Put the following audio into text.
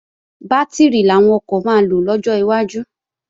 Bátìrì làwọn ọkọ̀ máa lò lọ́jọ́ iwájú